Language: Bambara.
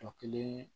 Jɔ kelen